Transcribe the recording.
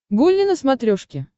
гулли на смотрешке